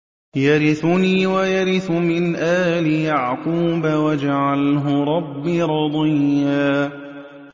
يَرِثُنِي وَيَرِثُ مِنْ آلِ يَعْقُوبَ ۖ وَاجْعَلْهُ رَبِّ رَضِيًّا